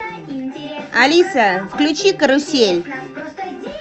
алиса включи карусель